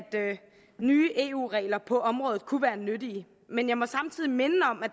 nye eu regler på området kunne være nyttige men jeg må samtidig minde om at